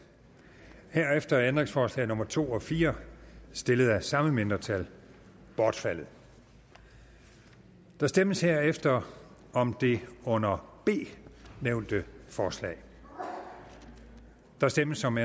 herefter er ændringsforslag nummer to og fire stillet af det samme mindretal bortfaldet der stemmes herefter om det under b nævnte forslag der stemmes om